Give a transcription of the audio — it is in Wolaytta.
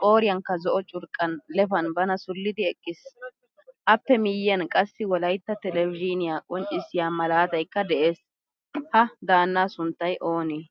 qoyirankka zo'o curqqan lefan bana sulidi eqqiis. Appe miyiyan qassi wolaytta tlelvzhiniyaa qonccissiyaa malaataykka de'ees. Ha daanaa sunttay oonee?